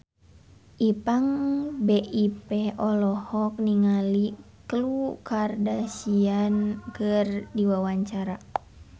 Ipank BIP olohok ningali Khloe Kardashian keur diwawancara